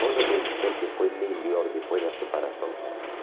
Posso te dizer que foi melhor depois da separação que antes.